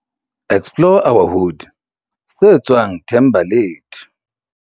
Explore our Hood, se tswang Thembalethu.